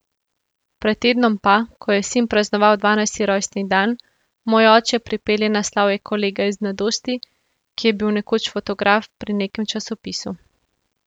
Pred tednom pa, ko je sin praznoval dvanajsti rojstni dan, moj oče pripelje na slavje kolega iz mladosti, ki je bil nekoč fotograf pri nekem časopisu.